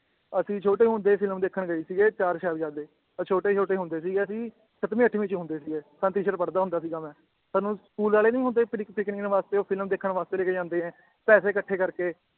ਅਸੀ ਛੋਟੇ ਹੁੰਦੇ ਫਿਲਮ ਦੇਖਣ ਗਏ ਸੀਗੇ ਚਾਰ ਸਾਹਿਬਜ਼ਾਦੇ ਅ ਛੋਟੇ ਛੋਟੇ ਹੁੰਦੇ ਸੀਗੇ ਅਸੀ ਸੱਤਵੀਂ ਅੱਠਵੀਂ ਚ ਹੁੰਦੇ ਸੀਗੇ ਸਨਤੀਸ਼ਰ ਪੜ੍ਹਦਾ ਹੁੰਦਾ ਸੀਗਾ ਮੈ ਸਾਨੂੰ ਸਕੂਲ ਵਾਲੇ ਨੀ ਹੁੰਦੇ ਪਿਰਕ ਪਿਕਨਿਕ ਵਾਸਤੇ ਉਹ ਫਿਲਮ ਦੇਖਣ ਵਾਸਤੇ ਲੈਕੇ ਜਾਂਦੇ ਏ ਪੈਸੇ ਕੱਠੇ ਕਰਕੇ